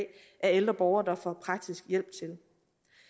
ældre borgere får praktisk hjælp til